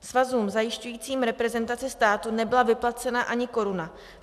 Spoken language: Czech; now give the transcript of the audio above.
Svazům zajišťujícím reprezentaci státu nebyla vyplacena ani koruna.